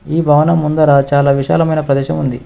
ఈ భవనం ముందర చాలా విశాలమైన ప్రదేశం ఉంది.